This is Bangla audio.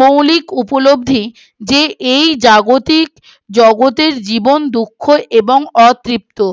মৌলিক উপলব্ধির যে এই জাগতিক জগতের জীবন দুঃখ এবং অতৃপ্তি